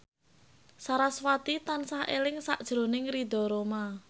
sarasvati tansah eling sakjroning Ridho Roma